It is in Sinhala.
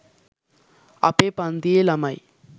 අපේ පන්තියේ ළමයි